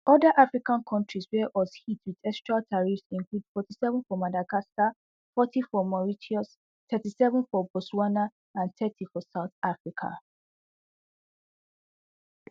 oda african kontris wia us hit wit extra tariffs include forty-seven for madagascar forty for mauritius thirty-seven for botswana and thirty for south africa